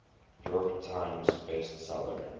york times bestseller